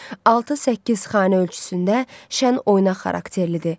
Altı-səkkiz xanə ölçüsündə şən, oynaq xarakterlidir.